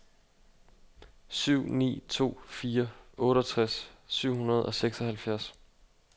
syv ni to fire otteogtres syv hundrede og seksoghalvfjerds